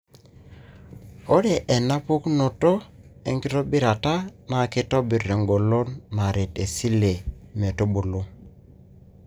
ore ena pukunoto enkitobirata na kitobir engolon naret iseli metubulu,